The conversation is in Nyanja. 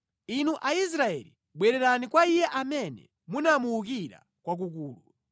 Inu Aisraeli, bwererani kwa Iye amene munamuwukira kwakukulu.